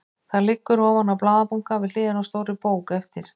Það liggur ofan á blaðabunka við hliðina á stórri bók eftir